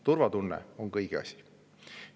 Turvatunne on kõigi asi.